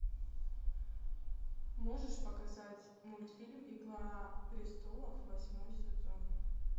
можешь показать мультфильм игра престолов восьмой сезон